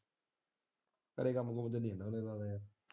ਸਾਰੇ ਕੰਮ ਕੁਮ ਵਿੱਚ ਨੂੰ ਲਾਇਆ।